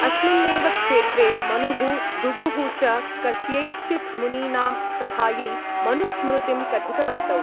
अस्मिन्नेव क्षेत्रे मनुः भृगुः च कस्यैश्चित् मुनीनां सभायै मनुस्मृतिं कथितवन्तौ।